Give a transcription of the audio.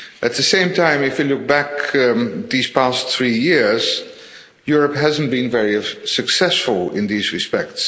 At the same time, if you look back over these past three years, Europe hasn't been very successful in these respects.